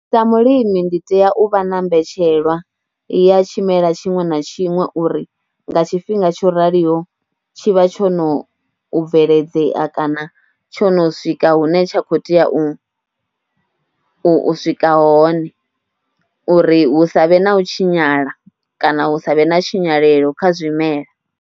Sa mulimi ndi tea u vha na mbetshelwa ya tshimela tshiṅwe na tshiṅwe uri nga tshifhinga tsho raliho tshi vha tsho no bveledzea kana tsho no swika hune wa khou tea u swika hone, uri hu sa vhe na u tshinyala kana hu sa vhe na tshinyalelo kha zwimela.